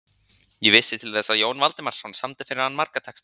Ég vissi til þess að Jón Valdimarsson samdi fyrir hann marga texta.